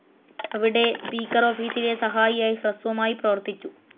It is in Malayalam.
അവിടെ, സ്പീക്കർ ഓഫീസിലെ സഹായിയായി ഹ്രസ്വമായി പ്രവർത്തിച്ചു.